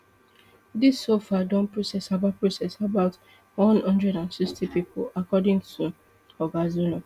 dis so far don process about process about one hundred and sixty thousand pipo according to oga zulum